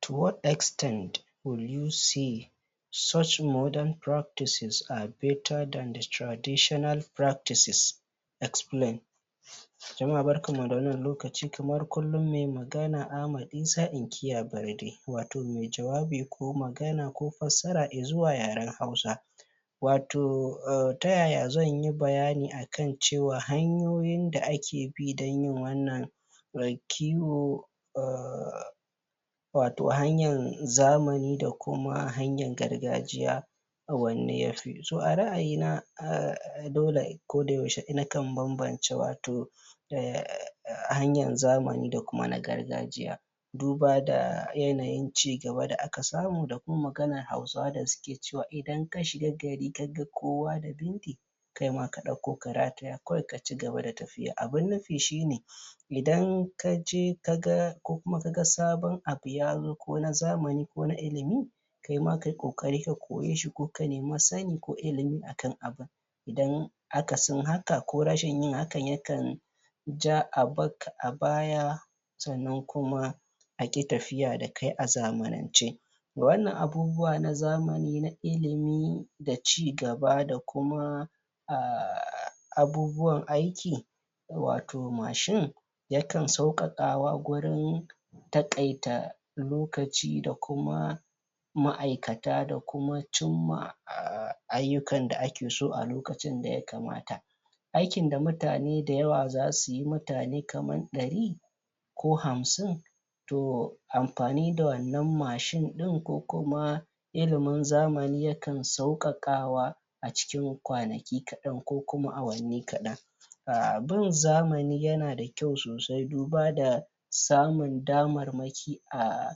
'To what extet will you say (A wace ƙima za ka/ki ce) such modern practices are better than the traditional practices" ( waɗannan hanyoyin zamani sun fi na gargajiya) Explain (Yi bayani) Jama'a barkanmu da wannan lokaci kamar kullum mai magana Ahmad Isa inkiya Barde watau mai jawani ko magana ko fassara i zuwa yaren hausa watau um ta yaya zanyi bayani a kan cewa hanyoyin da ake bi don yin wannan? watau hanyan zamani da kuma hanyan gargajiya wanne ya fi To a ra'ayi na um dole a koda yaushe nakan bambanta watau um hanyan zamani da kuma na gargajiya duba da hanyan cigaba da aka samu da kuma maganan hausawa da suke cewa idan ka shiga gari ka ga kowa da bindi, kai ma ka ɗauko da rataya kawai ka cigaba da tafya Abun nufi shine idan kaje ka ga kko kuma ka ga sabon abu ya zo ko na zamani ko na ilimi, kaima kayi ƙoƙari ka koye shi ko ka nemi sani ko ilimi a kan abun don akasin hakan ko rashin yin hakan yakan ja a bar ka a baya sannan kuma a ƙi tafiya da kai a zamanance Wannan abubuwa na zamani na ilimi da cigaba da kuma um abubuwan aiki watau mashin yakan sauƙaƙawa gurin taƙaita lokaci da kuma ma'aikata da kuma cimma um ayyukan da ake so a lokacin da ya kamata aikin da mutane dayawa za su yi mutane kaman ɗari ko hamshin to amfani da wannan mashin ɗin ko kuma ilimin zamani yakan sauƙaƙawa a cikin kwanaki kaɗan ko kuma awanni kaɗan um bin zamani yana da kyau sosai duba da samun damarmaki a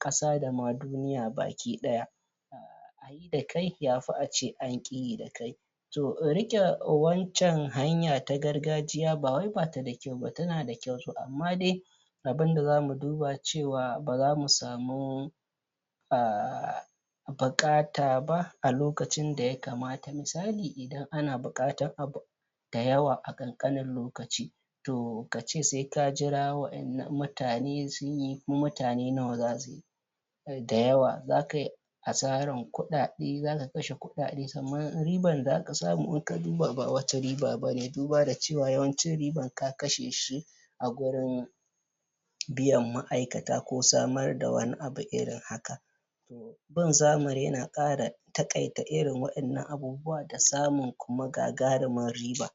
ƙasa da ma duniya baki ɗaya yi da kai ya fi ace an ƙi yi da kai to riƙe wancan hanya ta gargajiya ba wai bata da kyau ba tana da kyau amma dai abun da zamu duba cewa baza mu samu um buƙata ba a lokacin da ya kamata, misali idan ana buƙatan abu dayawa a ƙanƙanin lokaci to kace sai ka jira wa'innan mutane sunyi to mutane nawa zasu yi dayawa za kayi asaran kuɗaɗe zaka kashe kuɗaɗe sannan riban da zaka samu ba wani riba bane duba da cewa yawancin riban ka kashe shi a gurin biyan ma'aikata ko samar da wani abu irin haka bin zamani yana ƙara taƙaita irin wannan wa'innan abubuwa da samun kuma gagarumin riba.